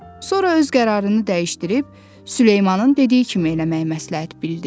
Sonra öz qərarını dəyişdirib Süleymanın dediyi kimi eləməyi məsləhət bildi.